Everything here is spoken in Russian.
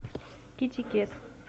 китикет